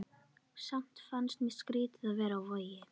Samt fannst mér skrýtið að vera á Vogi.